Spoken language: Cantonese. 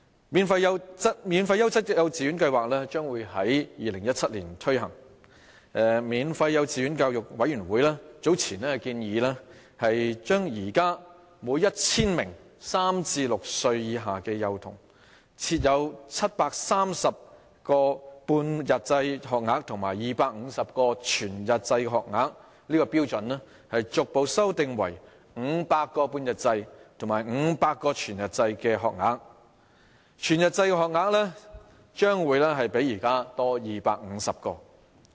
"免費優質幼稚園教育計劃"將於2017年推行，免費幼稚園教育委員會早前建議將現時每 1,000 名3至6歲以下的幼童，設有730個半日制學額及250個全日制學額的標準，逐步修訂為500個半日制學額及500個全日制學額，全日制學額將會較現時多250個。